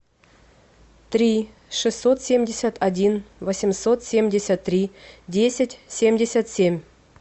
три шестьсот семьдесят один восемьсот семьдесят три десять семьдесят семь